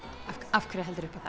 af hverju heldurðu upp á